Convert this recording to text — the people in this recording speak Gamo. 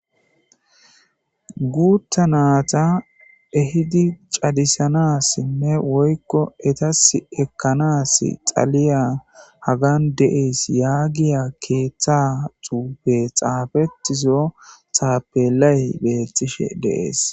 Guutta natta ehidi caadissanas woykko eetas eekanas dhaliya hagan deyes yagiya dya keeththa bolla xaafettizo taapelay beetoshe dees